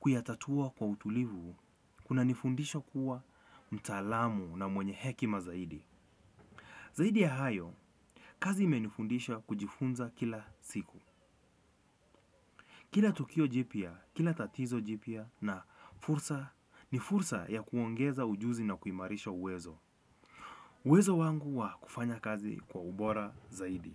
kuyatatua kwa utulivu kuna nifundisha kuwa mtaalamu na mwenye hekima zaidi. Zaidi ya hayo, kazi imenifundisha kujifunza kila siku. Kila tukio jipya kila tatizo jipya na fursa ni fursa ya kuongeza ujuzi na kuimarisha uwezo. Uwezo wangu wa kufanya kazi kwa ubora zaidi.